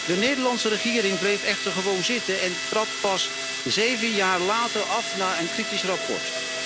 De Nederlandse regering bleef echter gewoon zitten en trad pas zeven jaar later af na een kritisch rapport.